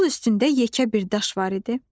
Yol üstündə yekə bir daş var idi.